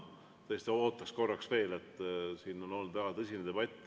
Ma tõesti ootaks korraks veel, sest siin on olnud väga tõsine debatt.